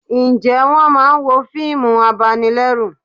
Ǹjẹ́ wọ́n máa ń wo fíìmù abanilẹ́rù